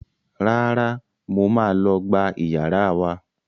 Rárá, mo máa lọ gbá iyàrá wa